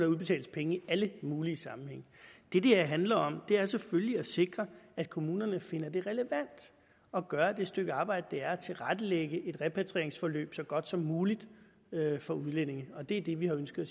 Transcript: udbetales penge i alle mulige sammenhænge det det her handler om er selvfølgelig at sikre at kommunerne finder det relevant at gøre det stykke arbejde det er at tilrettelægge et repatrieringsforløb så godt som muligt for udlændinge og det er det vi har ønsket